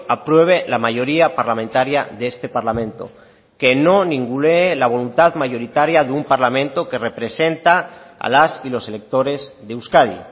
apruebe la mayoría parlamentaria de este parlamento que no ningunee la voluntad mayoritaria de un parlamento que representa a las y los electores de euskadi